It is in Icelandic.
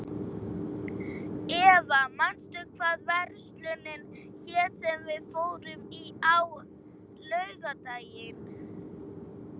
Eva, manstu hvað verslunin hét sem við fórum í á laugardaginn?